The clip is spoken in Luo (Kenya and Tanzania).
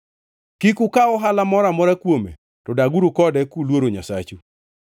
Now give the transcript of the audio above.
Kik ukaw ohala moro amora kuome, to daguru kode kuluoro Nyasachu.